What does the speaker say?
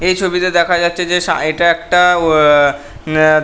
এই ছবি তে দেখা যাচ্ছে যে সা এটা একটা উম অ্যা --